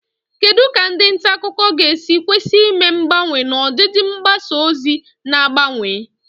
Kedu ka ndị nta akụkọ ga-esi kwesị ime mgbanwe n'ọdịdị mgbasa ozi na-agbanwe?